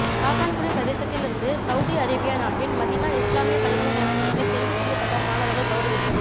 காத்தான்குடி பிரதேசத்திலிருந்து சவூதி அரேபிய நாட்டின் மதீனா இஸ்லாமிய பல்கலைக்கழகத்திற்கு தெரிவு செய்யப்பட்ட மாணவர்கள் கௌரவிப்பு